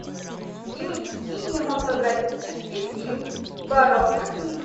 кинематографический фильм воровка книг